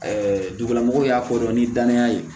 dugulamɔgɔw y'a fɔ dɔrɔn ni danaya ye